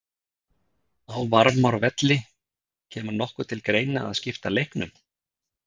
Á Varmárvelli Kemur nokkuð til greina að skipta leiknum?